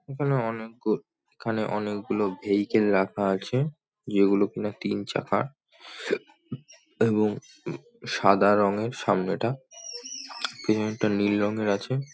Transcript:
এখানে অনেকগুল এখানে অনেকগুলো ভেইকেল রাখা আছে। যেগুলো কিনা তিন চাকার এবং সাদা রঙের সামনে টা পিছনে একটা নীল রঙের আছে ।